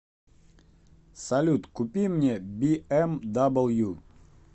салют купи мне би эм дабл ю